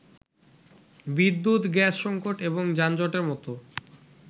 বিদ্যুৎ, গ্যাস সংকট এবং যানজটের মত